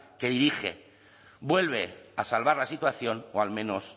que dirige vuelve a salvar la situación o al menos